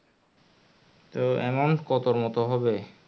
তো amount কত মতো হবে